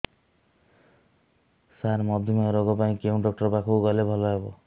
ସାର ମଧୁମେହ ରୋଗ ପାଇଁ କେଉଁ ଡକ୍ଟର ପାଖକୁ ଗଲେ ଭଲ ହେବ